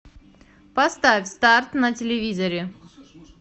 поставь старт на телевизоре